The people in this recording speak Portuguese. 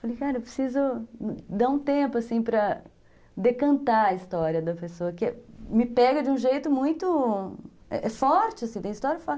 Falei, cara, eu preciso dar um tempo, assim, para decantar a história da pessoa, que me pega de um jeito muito forte, assim, tem histórias fortes.